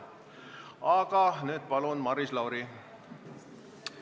Aga nüüd, palun, Maris Lauri!